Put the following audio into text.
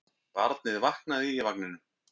Barnið vaknaði í vagninum.